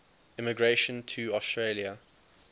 immigration to australia